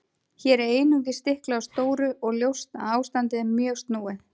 Hér er einungis stiklað á stóru og ljóst að ástandið er mjög snúið.